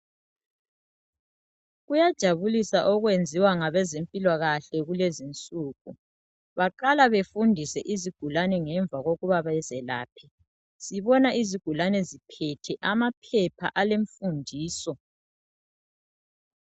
Kuyajabulisa okwenziwa ngabezempilakahle kulezi insuku. Baqala befundise izigulane ngemva kokuba bazelaphe. Sibona izigulane ziphethe ama phepha ale mfundiso.